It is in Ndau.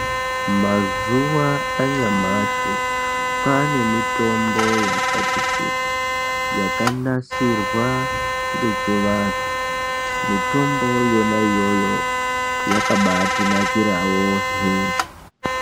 Mazuwa anyamashi kwaane mitombo yakati kuti yakanasirwa ngechivanhu. Mitombo yona iyoyo yakabaatinakirawo hee.